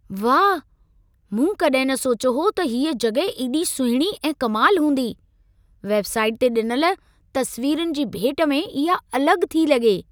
वाह! मूं कॾहिं न सोचियो हो त हीअ जॻहि एॾी सुहिणी ऐं कमाल हूंदी। वेबसाइट ते ॾिनल तस्वीरुनि जी भेट में इहा अलग थी लॻे।